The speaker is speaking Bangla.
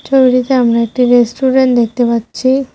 ছবিটিতে আমরা একটি রেস্টুরেন্ট দেখতে পাচ্ছি।